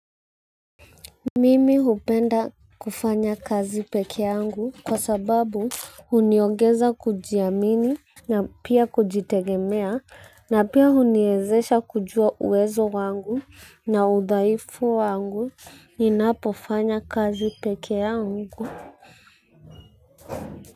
Mimi hupenda kufanya kazi pekee yangu kwa sababu huniongeza kujiamini na pia kujitegemea. Na pia huniezesha kujua uwezo wangu na udhaifu wangu. Ninapofanya kazi pekee yangu.